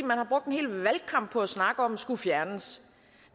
man har brugt en hel valgkamp på at snakke om skulle fjernes